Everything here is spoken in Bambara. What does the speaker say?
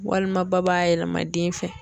Walima ba yɛlɛma den fɛ.